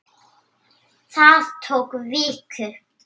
Það tók viku.